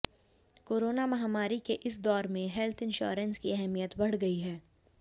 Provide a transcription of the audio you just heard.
corona महामारी के इस दौर में हेल्थ इंश्योरेंस की अहमियत बढ़ गई है